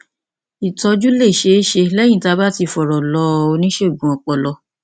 ìtọjú lè ṣeé ṣe lẹyìn tí a bá ti fọrọ lọ oníṣègùn ọpọlọ